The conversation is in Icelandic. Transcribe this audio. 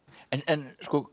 en